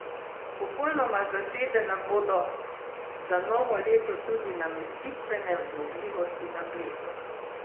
Popolnoma zasedene bodo za novo leto tudi namestitvene zmogljivosti na Bledu.